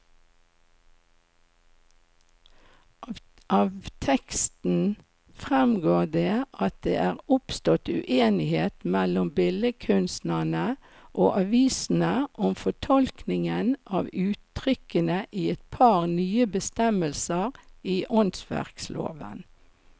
Av teksten fremgår det at det er oppstått uenighet mellom billedkunstnerne og avisene om fortolkningen av uttrykkene i et par nye bestemmelser i åndsverkloven.